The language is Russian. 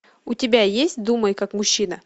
у тебя есть думай как мужчина